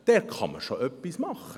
Dort kann man schon etwas tun.